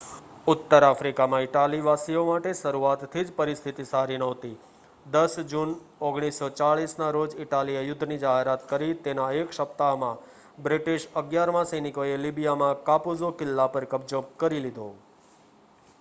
ઉત્તર આફ્રિકામાં ઈટાલીવાસીઓ માટે શરૂઆતથી જ પરિસ્થિતિ સારી નહોતી 10 જૂન 1940ના રોજ ઇટાલીએ યુદ્ધની જાહેરાત કરી તેના એક સપ્તાહમાં બ્રિટિશ 11મા સૈનિકોએ લીબિયામાં કાપુઝો કિલ્લા પર કબજો કરી લીધો